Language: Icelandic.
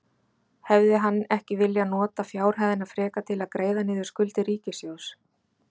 Hefði hann ekki viljað nota fjárhæðina frekar til að greiða niður skuldir ríkissjóðs?